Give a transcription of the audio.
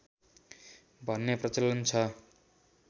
भन्ने प्रचलन छ